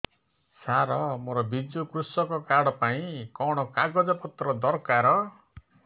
ସାର ମୋର ବିଜୁ କୃଷକ କାର୍ଡ ପାଇଁ କଣ କାଗଜ ପତ୍ର ଦରକାର